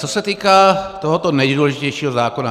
Co se týká tohoto nejdůležitějšího zákona.